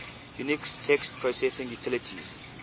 unix text processing utilities